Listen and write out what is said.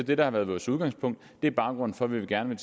det der har været vores udgangspunkt og det er baggrunden for at vi gerne